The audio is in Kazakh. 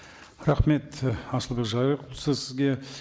рахмет асылбек сізге